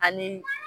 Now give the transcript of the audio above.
Ani